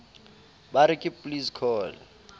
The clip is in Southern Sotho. ba re ke please call